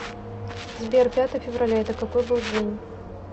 сбер пятое февраля это какой был день